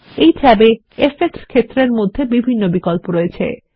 এই ট্যাবে ইফেক্টস ক্ষেত্রের মধ্যে বিভিন্ন বিকল্প রয়েছে